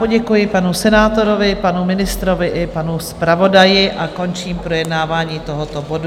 Poděkuji panu senátorovi, panu ministrovi i panu zpravodaji a končím projednávání tohoto bodu.